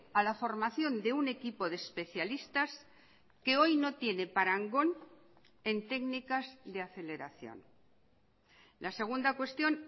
a la formación de un equipo de especialistas que hoy no tiene parangón en técnicas de aceleración la segunda cuestión